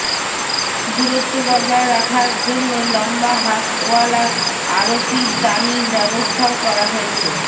দূরত্ব বজায় রাখার জন্যই লম্বা হাতওয়ালা আরতির দানির ব্যবস্থাও করা হয়েছে